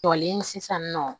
Jɔlen sisan nɔ